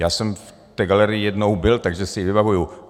Já jsem v té galerii jednou byl, takže si ji vybavuju.